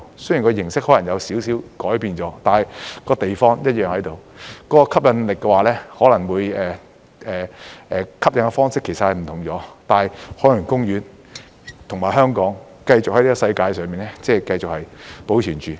雖然形式可能有少許改變，但地方一樣在，吸引訪客的方式是不同了，但海洋公園和香港會繼續在這個世界上保存着。